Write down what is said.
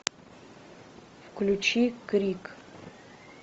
включи крик